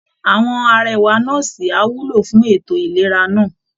Àwọn arẹwà nọ́ọ̀sì á wúlò fún ètò ìlera náà